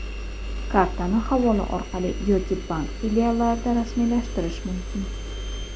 Kartani havola orqali yoki bank filiallarida rasmiylashtirish mumkin.